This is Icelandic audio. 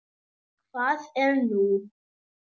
Hvað er nú?